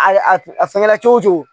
A a fɛngɛ cogo cogo